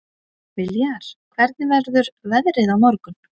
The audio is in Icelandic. Viljar, hvernig verður veðrið á morgun?